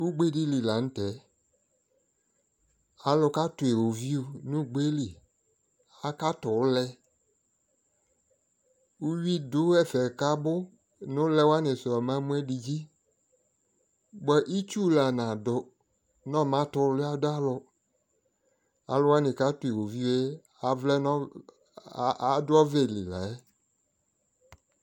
ʋgbɛ dili lantɛ, alʋ katʋ iwɔviʋ nʋ ʋgbɛli, akatʋ ʋlɛ ʋwi dʋ ɛƒɛ kʋ abʋ nʋ ʋlɛ wani sʋ ɔma mʋ ɛdi dzi, bʋa itsʋ la nadʋ nɔ ɔma tɛ ʋwlia dʋ alʋ, alʋ wani katʋ iwɔviʋɛ adʋ ɔvɛli layɛ